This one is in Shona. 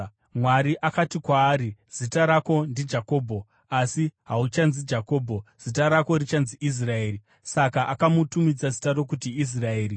Mwari akati kwaari, “Zita rako ndiJakobho, asi hauchanzi Jakobho, zita rako richanzi Israeri.” Saka akamutumidza zita rokuti Israeri.